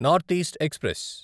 north east express